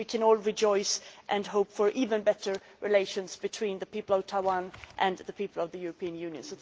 We can all rejoice and hope for even better relations between the people of Taiwan and the people of the European Union.